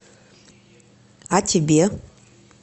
а тебе